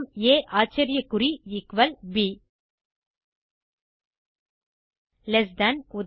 ஆ ஆச்சரியகுறி எக்குவல் ப் less than உதா